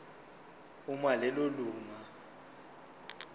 uma lelo lunga